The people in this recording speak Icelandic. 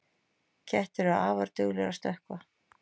Kettir eru afar duglegir að stökkva.